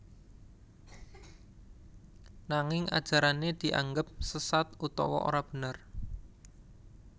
Nanging ajarané dianggep sesat utawa ora bener